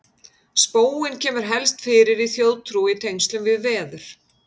spóinn kemur helst fyrir í þjóðtrú í tengslum við veður